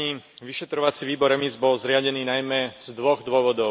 Vyšetrovací výbor EMIS bol zriadený najmä z dvoch dôvodov.